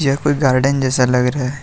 यह कोई गार्डन जैसा लग रहा है।